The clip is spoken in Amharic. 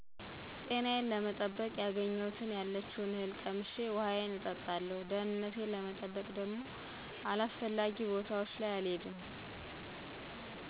ጤናዬን ለመጠበቅ ያገኘሁትን ያለችውን እህል ቀምሼ ውሀዬን እጠጣለሁ። ደህንነቴን ለመጠበቅ ደግሞ አላስፈላጊ ቦታዎች አልሄድም።